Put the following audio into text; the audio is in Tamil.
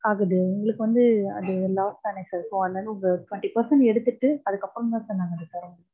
ஆகுது, எங்களுக்கு வந்து அது loss தானே sir, so அதுல இருந்து ஒரு twenty percent எடுத்துட்டு, அதுக்கப்புறம்தா sir நாங்க அத தரோம்.